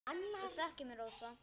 Þú þekkir mig, Rósa.